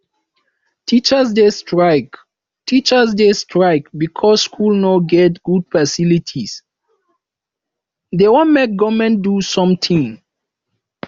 teachers dey strike teachers dey strike because skool no get good facilities dey wan make government do sometin